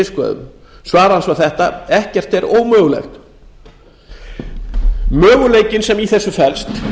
sínum svar hans var þetta ekkert er ómögulegt möguleikinn sem í þessu felst